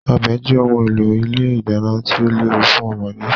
Ọ̀bẹ jẹ́ ohun èlò ilé ìdáná tí ó léwu fún ọmọdé.